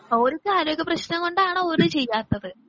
ഓര്ക്ക് ആരോഗ്യപ്രശ്നം കൊണ്ടാണ് ഓര് ചെയ്യാത്തത്.